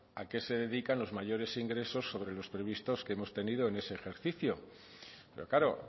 a qué se dedican los mayores ingresos sobre los previstos que hemos tenido en ese ejercicio pero claro